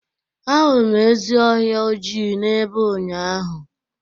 Ahụrụ m ezi ọhịa ojii n'ebe unyaahụ.